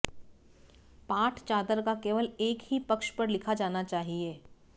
पाठ चादर का केवल एक ही पक्ष पर लिखा जाना चाहिए